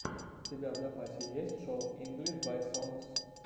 у тебя в запасе есть шоу инглиш бай сонгс